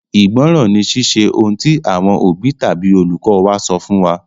Ìgbọ́ràn ni Ṣíṣe ohun tí àwọn òbí tàbí olùkọ́ wa sọ fún wa.